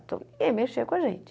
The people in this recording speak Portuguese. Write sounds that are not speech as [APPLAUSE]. Então, [UNINTELLIGIBLE] mexer com a gente.